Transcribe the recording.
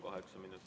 Kaheksa minutit.